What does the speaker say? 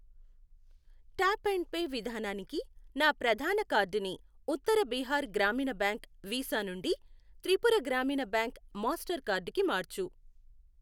Tap and pay విధానానికి నా ప్రధాన కార్డుని ఉత్తర బీహార్ గ్రామీణ బ్యాంక్ వీసా నుండి Tripura Gramin bank master card కి మార్చు.